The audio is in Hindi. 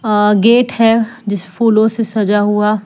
आ गेट है फूलों से सजा हुआ।